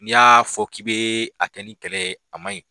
N'i y'a fɔ k'i bɛ a kɛ ni kɛlɛ a man ɲi.